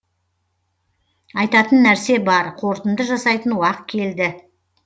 айтатын нәрсе бар қорытынды жасайтын уақ келді